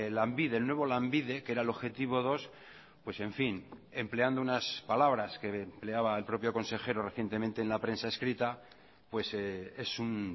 lanbide el nuevo lanbide que era el objetivo dos pues en fin empleando unas palabras que empleaba el propio consejero recientemente en la prensa escrita pues es un